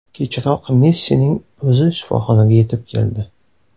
Kechroq Messining o‘zi shifoxonaga yetib keldi.